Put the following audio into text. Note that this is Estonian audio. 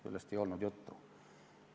Sellest ei olnud juttu.